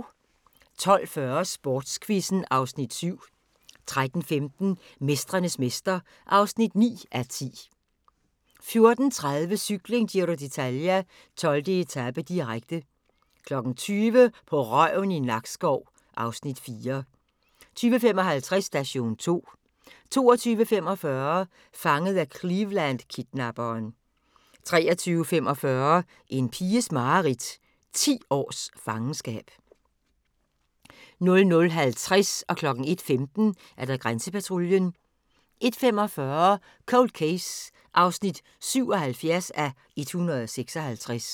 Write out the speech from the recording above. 12:40: Sportsquizzen (Afs. 7) 13:15: Mestrenes mester (9:10) 14:30: Cykling: Giro d'Italia - 12. etape, direkte 20:00: På røven i Nakskov (Afs. 4) 20:55: Station 2 22:45: Fanget af Cleveland-kidnapperen 23:45: En piges mareridt – 10 års fangenskab 00:50: Grænsepatruljen 01:15: Grænsepatruljen 01:45: Cold Case (77:156)